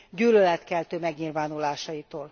gyűlöletkeltő megnyilvánulásaitól.